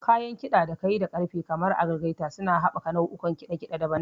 Kayan ƙiɗa da kayi da ƙarfe kamar algaita suna haɓaka nau'ukan kiɗa daban-daban.